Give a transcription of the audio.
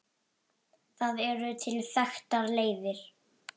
Það eru til þekktar leiðir.